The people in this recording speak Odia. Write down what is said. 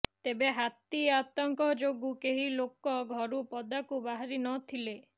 ତେବେ ହାତୀ ଆତଙ୍କ ଯୋଗୁଁ କେହି ଲୋକ ଘରୁ ପଦାକୁ ବାହାରି ନ ଥିଲେ